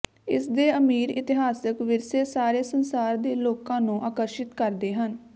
ਇਸਦੇ ਅਮੀਰ ਇਤਿਹਾਸਕ ਵਿਰਸੇ ਸਾਰੇ ਸੰਸਾਰ ਦੇ ਲੋਕਾਂ ਨੂੰ ਆਕਰਸ਼ਿਤ ਕਰਦੇ ਹਨ